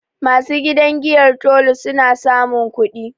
Ma su gidan giyar Tolu, su na samun kudi